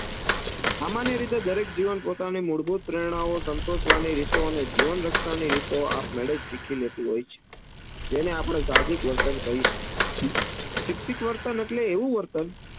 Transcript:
સામાન્ય રીતે દરેક જીવન પોતાનું મૂળભૂત પ્રેરનાઓ સંતોષવાની રીતો અને જીવન રક્ષાની રીતો આપમેડે જ શીખી લેતું હોય છે. જેને આપણે સાહજિક વર્તન કહી શકીએ. શિક્ષિત વર્તન આટલે એવું વર્તન